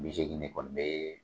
Bi seegin de kɔni be